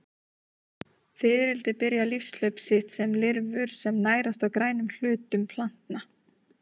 Fiðrildi byrja lífshlaup sitt sem lirfur sem nærast á grænum hlutum plantna.